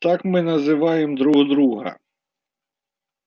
так мы называем друг друга